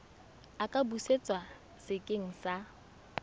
a ka busetswa sekeng sa